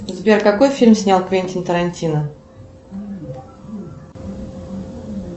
сбер какой фильм снял квентин тарантино